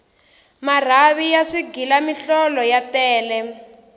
marhavi ya swighila mihlolo ta tele